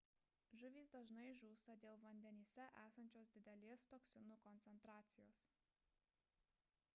žuvys dažnai žūsta dėl vandenyse esančios didelės toksinų koncentracijos